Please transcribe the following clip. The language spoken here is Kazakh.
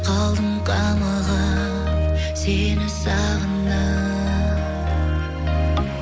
қалдым қамығып сені сағынып